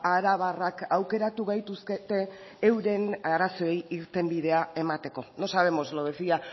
arabarrak aukeratu gaituzkete euren arazoei irtenbidea emateko no sabemos lo decía